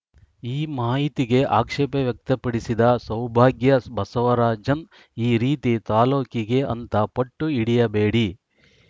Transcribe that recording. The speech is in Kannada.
ಈ ಮಾಇತಿಗೆ ಆಕ್ಷೇಪ ವ್ಯಕ್ತಪಿಡಿಸಿದ ಸೌಭಾಗ್ಯ ಬಸವರಾಜನ್‌ ಈ ರೀತಿ ತಾಲೂಕಿಗೆ ಅಂತ ಪಟ್ಟು ಹಿಡಿಯಬೇಡಿ